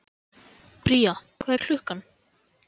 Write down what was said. Bría, hvað er klukkan?